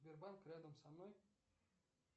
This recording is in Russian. сбербанк рядом со мной